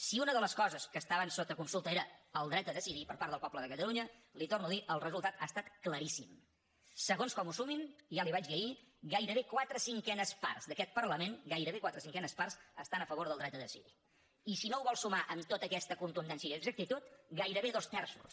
si una de les coses que estaven sota consulta era el dret a decidir per part del poble de catalunya li ho torno a dir el resultat ha estat claríssim segons com ho sumin ja li ho vaig dir ahir gairebé quatre cinquenes parts d’aquest parlament gairebé quatre cinquenes parts estan a favor del dret a decidir i si no ho vol sumar amb tota aquesta contundència i exactitud gairebé dos terços